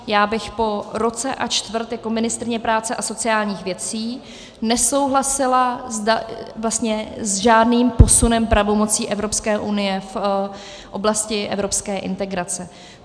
Já bych po roce a čtvrt jako ministryně práce a sociálních věcí nesouhlasila vlastně s žádným posunem pravomocí Evropské unie v oblasti evropské integrace.